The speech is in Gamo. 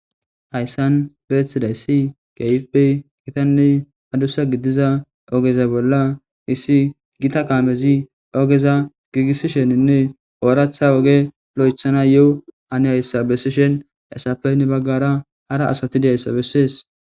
hayssan beeththiday ssi keypey kitanni adussa giddiza ogeza bolla issi gita kaamezi ogeza giigissi sheninne ooractha woge lo7ethana yo7o ani hayssa bessishen essapenne baggara hara asati deyssa bessees